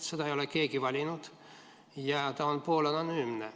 Seda ei ole keegi valinud ja ta on poolanonüümne.